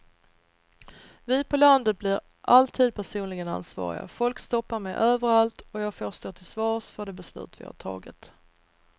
Vi på landet blir alltid personligen ansvariga, folk stoppar mig överallt och jag får stå till svars för de beslut vi har tagit.